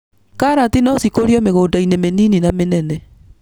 Karati nocikũrio mĩgũndainĩ mĩnini na mĩnene.